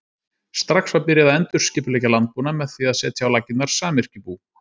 strax var byrjað að endurskipuleggja landbúnað með því að setja á laggirnar samyrkjubú